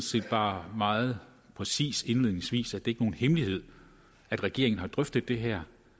set bare meget præcist indledningsvis at det ikke er nogen hemmelighed at regeringen har drøftet det her